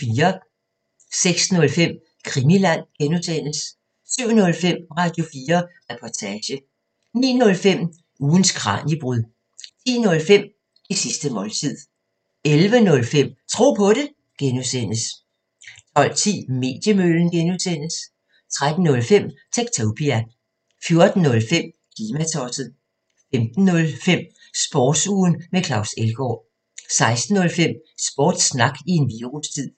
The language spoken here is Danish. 06:05: Krimiland (G) 07:05: Radio4 Reportage 09:05: Ugens Kraniebrud 10:05: Det sidste måltid 11:05: Tro på det (G) 12:10: Mediemøllen (G) 13:05: Techtopia 14:05: Klimatosset 15:05: Sportsugen med Claus Elgaard 16:05: Sportssnak i en virustid